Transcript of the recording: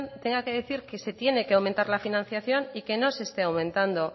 tenga que decir que se tiene que aumentar la financiación y que no se esté aumentando